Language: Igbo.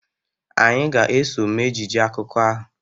Anyị ga-eso mee ejije akụkọ ahụ